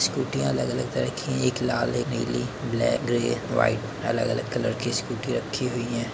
स्कूटियाँ अलग अलग तरह की हैं। एक लाल है नीली ब्लैक ग्रे वाइट अलग अलग कलर की स्कूटी रक्खी हुई है।